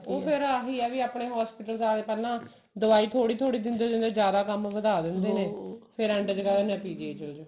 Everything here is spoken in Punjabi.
ਉਹ ਫੇਰ ਆਹੀ ਹੈ ਆਪਣੇ hospital ਜਾਕੇ ਪਹਿਲਾਂ ਦਵਾਈ ਥੋੜੀ ਥੋੜੀ ਦਿੰਦੇ ਦਿੰਦੇ ਜਿਆਦਾ ਕੰਮ ਵਧਾ ਲੈਂਦੇ ਨੇ ਫੇਰ end ਚ ਕਹਿ ਦਿੰਦੇ ਨੇ PGI ਚਲੇ ਜੋ